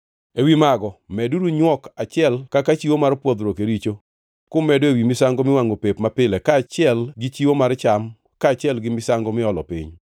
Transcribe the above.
Ewi mago meduru nywok achiel kaka chiwo mar pwodhruok e richo, kumedo ewi misango miwangʼo pep mapile kaachiel gi chiwo mar cham kaachiel gi misango miolo piny.